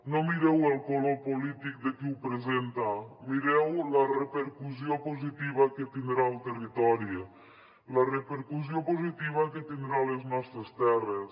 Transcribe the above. no mireu el color polític de qui ho presenta mireu la repercussió positiva que tindrà al territori la repercussió positiva que tindrà a les nostres terres